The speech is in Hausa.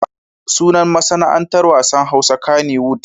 Sunan masana'antar wasan Hausa kaniwud.